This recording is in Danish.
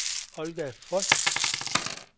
Olga Frost